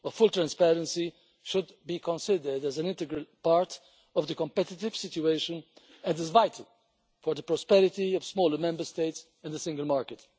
A full transparency should be considered as an integral part of the competitive situation and is vital for the prosperity of smaller Member States and the single market.